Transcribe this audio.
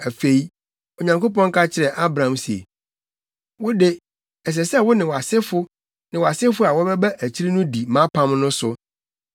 Afei, Onyankopɔn ka kyerɛɛ Abraham se, “Wo de, ɛsɛ sɛ wo ne wʼasefo ne wʼasefo a wɔbɛba akyiri no di mʼapam no so.